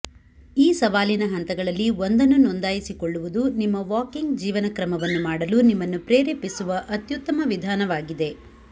ಈ ಸವಾಲಿನ ಹಂತಗಳಲ್ಲಿ ಒಂದನ್ನು ನೋಂದಾಯಿಸಿಕೊಳ್ಳುವುದು ನಿಮ್ಮ ವಾಕಿಂಗ್ ಜೀವನಕ್ರಮವನ್ನು ಮಾಡಲು ನಿಮ್ಮನ್ನು ಪ್ರೇರೇಪಿಸುವ ಅತ್ಯುತ್ತಮ ವಿಧಾನವಾಗಿದೆ